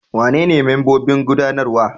Wanene membobin gudanarwa?